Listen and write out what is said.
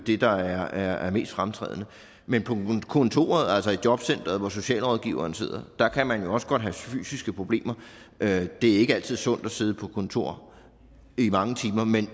det der er mest fremtrædende men på kontoret altså i jobcenteret hvor socialrådgiveren sidder kan man også godt have fysiske problemer det er ikke altid sundt at sidde på kontor i mange timer